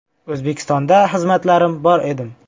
O‘zbekistonda xizmatlarim bor edim.